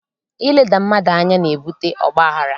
Ileda mmadụ anya na-ebute ọgbaghara